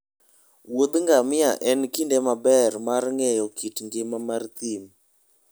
Wuoth ngamia en kinde maber mar ng'eyo kit ngima mar thim.